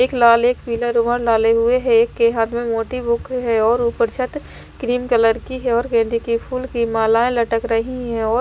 एक लाल एक पीला रुमाल डाले हुए हैं एक के हाथ में मोटी बुक है और ऊपर छत क्रीम कलर की है और गेंदे के फूल की मालाएं लटक रही हैं और --